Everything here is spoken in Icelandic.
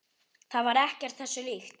Það var ekkert þessu líkt.